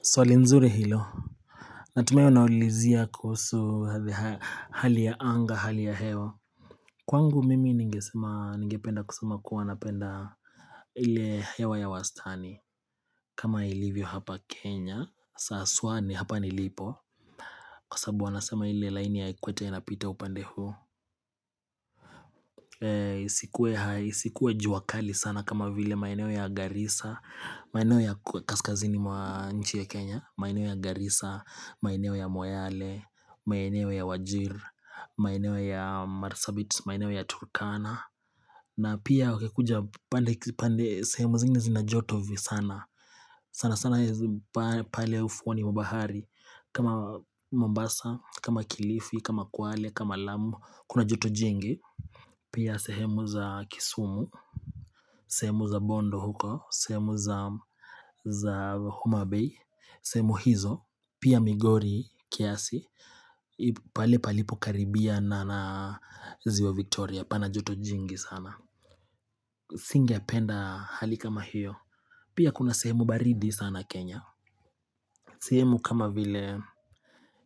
Swali nzuri hilo Natumai unaulizia kuhusu hali ya anga hali ya hewa Kwangu mimi ningependa kusema kuwanapenda ile hewa ya wastani kama ilivyo hapa kenya haswani hapa ni lipo Kwa sababu wanasema ile line ya equator inapita upande isikuwe juakali sana kama vile maeneo ya Garisa, maeneo ya Kaskazini mwa nchi ya Kenya, maeneo ya Garisa, maeneo ya Moyale, maeneo ya Wajir, maeneo ya Marsabit, maeneo ya Turkana na pia wakikuja pande sehemu zingine zinajoto vi sana. Sana sana pale ufuoniwa bahari kama Mombasa, kama Kilifi, kama Kwale, kama Lamu, kuna joto jingi Pia sehemu za kisumu, sehemu za bondo huko, sehemu za homa bay, sehemu hizo. Pia migori kiasi, pale palipo karibia na ziwa Victoria, pana joto jingi sana. Singe penda hali kama hiyo. Pia kuna sehemu baridi sana Kenya. Sehemu kama vile,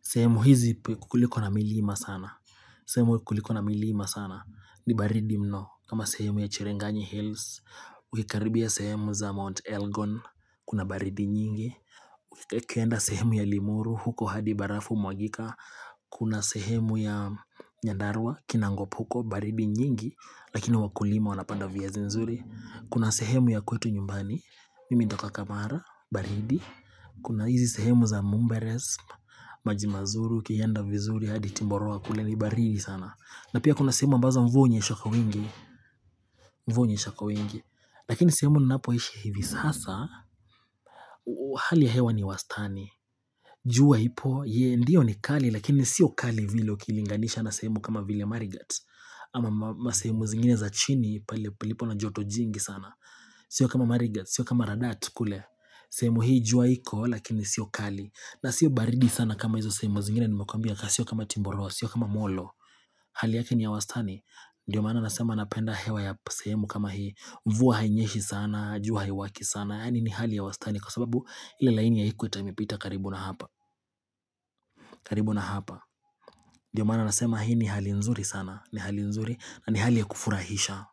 sehemu hizi kuliko na milima sana. Sehemu kulikona milima sana ni baridi mno kama sehemu ya Cherangani Hills Ukikaribia sehemu za Mount Elgon Kuna baridi nyingi ukienda sehemu ya Limuru huko hadibarafu humwagika Kuna sehemu ya Nyandarwa kinangop huko baridi nyingi Lakini wakulima wanapanda viazi nzuri Kuna sehemu ya kwetu nyumbani Mimi natoka kamara baridi Kuna hizi sehemu za Mumberes maji mazuri, ukienda vizuri hadi timboroa kule ni baridi sana na pia kuna sehemu ambazo mvua hunyeshakwa wingi Mvua hunyeshakwa wingi Lakini sehemu ninapo ishi hivi sasa Hali ya hewa ni wastani jua ipo, ndiyo ni kali Lakini siyo kali vile ukilinganisha na sehemu kama vile marigat Ama sehemu zingine za chini palipo na joto jingi sana Sio kama marigat, sio kama radaat kule sehemu hii jua iko Lakini siyo kali na sio baridi sana kama hizo sehemu zingine nimekwambia Sio kama timboroa, sio kama molo Hali yake ni ya wastani Ndiyo maana nasema napenda hewa ya sehemu kama hii mvua hainyeshi sana, jua haiwaki sana Yaani ni hali ya wastani kwa sababu ile laini ya equator imepita karibu na hapa karibu na hapa Ndiyo maana nasema hii ni hali nzuri sana ni hali nzuri na ni hali ya kufurahisha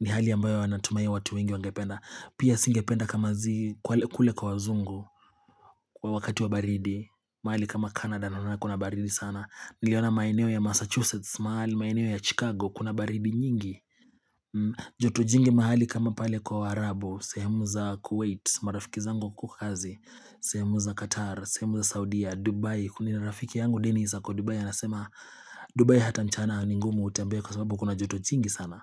ni hali ya ambayo natumai watu wengi wangependa Pia singependa kama zi kule kwa wazungu wakati wa baridi mahali kama Canada naona kuna baridi sana Niliona maeneo ya Massachusetts mahali maeneo ya Chicago Kuna baridi nyingi joto jingi mahali kama pale kwa waarabu sehemu za Kuwait marafiki zangu wakohukokazi sehemu za Qatar sehemu za Saudia Dubai Kuna rafiki yangu Denis ako Dubai Anasema Dubai hata mchana ningumu utembe Kwa sababu kuna joto jingi sana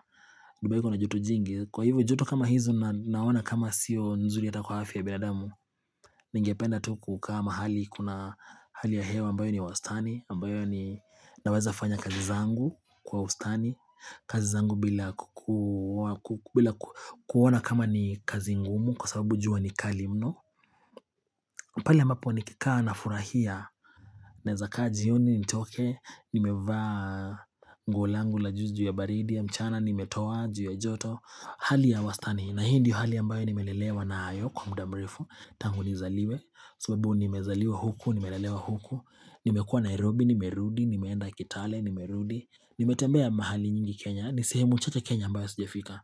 Dubai kuna joto jingi Kwa hivyo joto kama hizo naona kama sio nzuri hatakwa afya ya binadamu Ningependa tukukaamahali kuna hali ya hewa ambayo ni wastani ambayo ni naweza fanya kazi zangu kwa ustani kazi zangu bila kuona kama ni kazi ngumu kwa sababu jua ni kalimno pale ambapo nikikaa na furahia nawezaka jioni nitoke nimevaa nguolangu la juu ya baridi ya mchana nimetoa juu ya joto hali ya wastani na hiindiyo hali ambayo ni melelewa nayokwamudamrefutangu nizaliwe sababu nimezaliwa huku nimelelewa huku, nimekua Nairobi, nimerudi, nimeenda kitale, nimerudi nimetembea mahali nyingi Kenya, nisehemu chache Kenya ambayo sijafika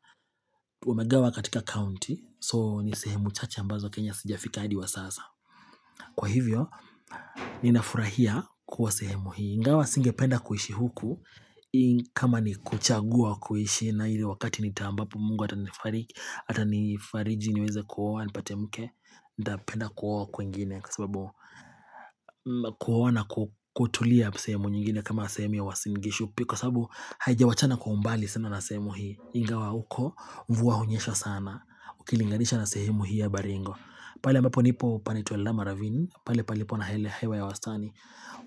wamegawa katika county, so nisehemu chache ambazo Kenya sijafika hadi wa sasa. Kwa hivyo, ninafurahia kuwa sehemu hii ingawa singependa kuishi huku, kama ni kuchagua kuishi nayoile wakati nita ambapo mungu atanifariki, atanifariji niweze kuoa, nipate mke, nitapenda kuoa kwingine kwa sababu kuoana kutulia sehemu nyingine kama sehemu ya Uwasingishu kwa sababu haijawachana kwa umbali sana na sehemu hii ingawa huko, mvua hunyesha sana ukilinganisha na sehemu hii ya baringo pale ambaponipo panaitwa eldama ravini pale palipo na hewa ya wastani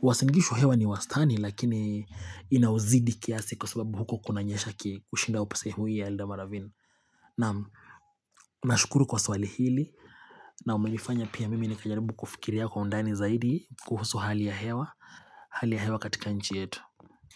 uwasingishu hewa ni wastani lakini inauzidi kiasi kwa sababu huko kunanyesha kushinda sehemu hii ya eldama ravini nashukuru kwa swali hili na umenifanya pia mimi nikajaribu kufikiria kwa undani zaidi kuhusu hali ya hewa, hali ya hewa katika nchi yetu.